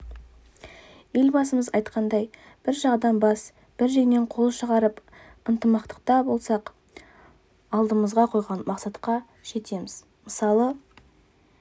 елбасымыз айтқандай бір жағадан бас бір жеңнен қол шығарып ынтымақтықта болсақ алдымызға қойған мақсатқа жетеміз мысалы